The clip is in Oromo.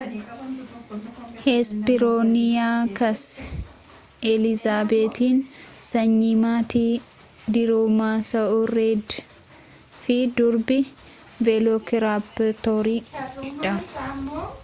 hesperooniyaakas elizaabetiin sanyii maatii diroomaasa'uuridee fi durbii veelookiraaptorii dha